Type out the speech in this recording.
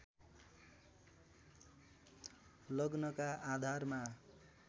लग्नका आधारमा